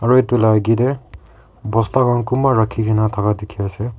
aru edu la akae tae bosta round kunba rakhikae na thaka dikhiase.